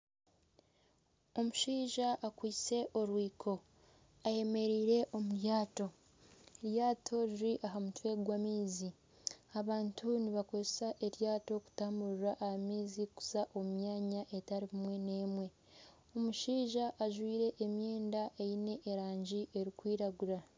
Omushaija akwaitse orwiko ayemereire omu ryato. Eryato riri aha mutwe gw'amaizi. Abantu nibakoresa eryato kutamburira aha maizi kuza omu myanya etari emwe n'emwe. Omushaija ajwaire emyenda eine erangi erikwiragura.